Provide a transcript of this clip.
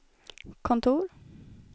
kontor